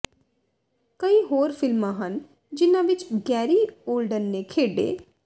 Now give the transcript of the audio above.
ਕਈ ਹੋਰ ਫਿਲਮਾਂ ਹਨ ਜਿਨ੍ਹਾਂ ਵਿਚ ਗੈਰੀ ਓਲਡਨ ਨੇ ਖੇਡੇ